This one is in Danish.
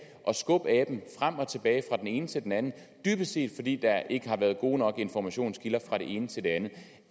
at skubbe aben frem og tilbage fra den ene til den anden dybest set fordi der ikke har været gode nok informationskilder fra den ene til den anden